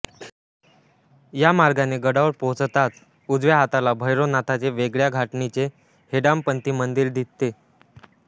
या मार्गाने गडावर पोहचताच उजव्या हाताला भैरवनाथाचे वेगळया धाटणीचे हेमाडपंथी मंदीर दिसते